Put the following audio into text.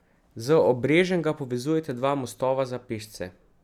Z obrežjem ga povezujeta dva mostova za pešce.